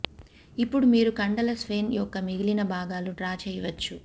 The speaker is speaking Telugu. ఇప్పుడు మీరు కండల స్వెన్ యొక్క మిగిలిన భాగాలు డ్రా చేయవచ్చు